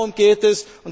Darum geht es.